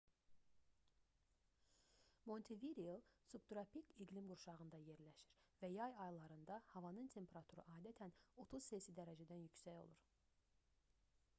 montevideo subtropik iqlim qurşağında yerləşir və yay aylarında havanın temperaturu adətən +30°c -dən yüksək olur